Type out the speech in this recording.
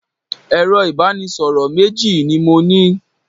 Ẹ̀rọ ìbánisọ̀rọ̀ méjì ni mo ní.